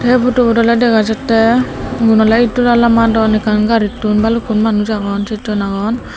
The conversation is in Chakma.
ei photobot oley dega jattey iyun oley itdola lamadon ekkan garitun balukkun manuj agon sejjon agon.